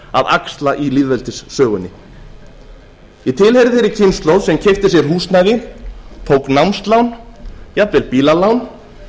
axla í lýðveldissögunni ég tilheyri þeirri kynslóð sem keypti sér húsnæði tók námslán jafnvel bílalán